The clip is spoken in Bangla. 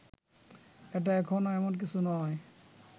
এটা এখনো এমন কিছু নয়